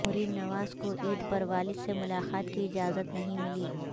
مریم نواز کو عید پر والد سے ملاقات کی اجازت نہیں ملی